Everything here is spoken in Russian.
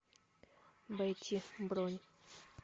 бати бронь